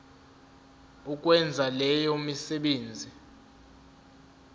ukwenza leyo misebenzi